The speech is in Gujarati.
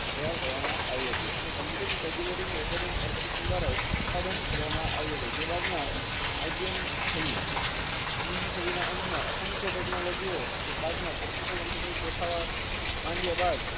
ત્યારે કરવામાં આવી હતી અને કોમ્પ્યુટરની tabulating recording દ્વારા ઉત્પાદન કરવામાં આવ્યો તો જે બાદમાં IBM થયું ઓગણીસમી સાધિન અંત માં અસંખિયો તેચનોલોજિયો જે બાદમાં પ્રકટીકાળ કમ્પ્યુટર દેખાવા માંડ્યા બાદ